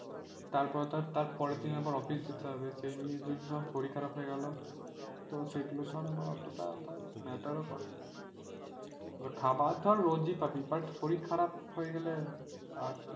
তারপর ধর তারপর দিন অফিস যেতে হবে এই নিয়ে ধর যদি শরীর খারাপ হয়ে গেল তো সেগুলো ধর আবার অতটা ধর matter ও করে। খাবার ধর রোজ ই পাবি but শরীর খারাপ হয়ে গেলে আর,